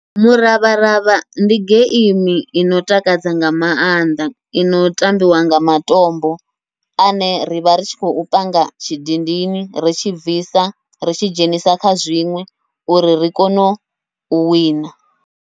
Muravharavha ndi geimi ino takadza nga maanḓa, ino tambiwa nga matombo ane rivha ri tshi khou panga tshidindini ritshi bvisa ritshi dzhenisa kha zwiṅwe uri ri kone u wina.